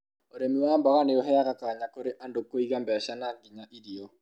ũrĩmi wa mboga ni ũheaga kanya kũrĩ andũ kũgia beca na nginya irio